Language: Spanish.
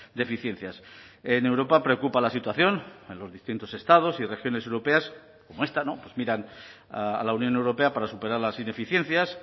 deficiencias en europa preocupa la situación en los distintos estados y regiones europeas como esta pues miran a la unión europea para superar las ineficiencias